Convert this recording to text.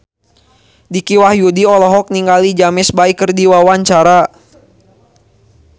Dicky Wahyudi olohok ningali James Bay keur diwawancara